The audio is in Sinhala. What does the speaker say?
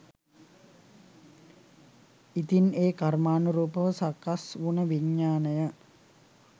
ඉතින් ඒ කර්මානුරූපව සකස් වුන විඤ්ඤාණය